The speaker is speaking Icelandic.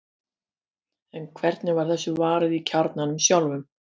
en hvernig var þessu varið í kjarnanum sjálfum